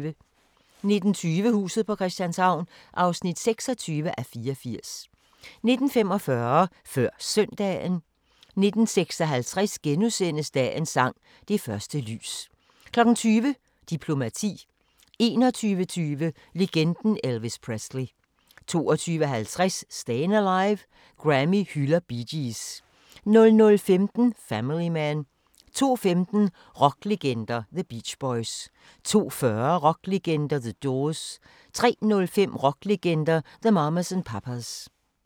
19:20: Huset på Christianshavn (26:84) 19:45: Før Søndagen 19:56: Dagens sang: Det første lys * 20:00: Diplomati 21:20: Legenden Elvis Presley 22:50: Stayin' Alive – Grammy hylder Bee Gees 00:15: Family Man 02:15: Rocklegender – The Beach Boys 02:40: Rocklegender - The Doors 03:05: Rocklegender – The Mamas and Papas